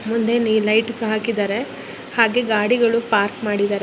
ಮುಂದೇನು ಲೈಟ್ ಹಾಕಿದ್ದಾರೆ ಹಾಗೆ ಗಾಡಿಗಳು ಪಾರ್ಕ್ ಮಾಡಿದ್ದರೆ.